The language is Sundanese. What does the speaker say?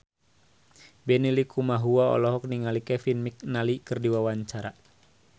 Benny Likumahua olohok ningali Kevin McNally keur diwawancara